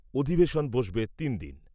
অধিবেশন বসবে তিনদিন।